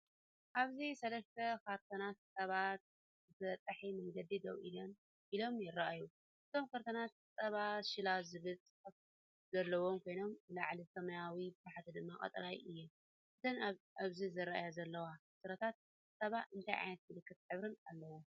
ኣብዚ ሰለስተ ካርቶናት ጸባ ብተበጻሒ መንገዲ ደው ኢሎም ይረኣዩ። እቶም ካርቶናት “ጸባ ሾላ” ዝብል ጽሑፍ ዘለዎም ኮይኖም ብላዕሊ ሰማያዊ፡ ብታሕቲ ድማ ቀጠልያ እዮም። እተን ኣብዚ ዝረአ ዘለዋ ዕትሮታት ጸባ እንታይ ዓይነት ምልክትን ሕብርን ኣለወን?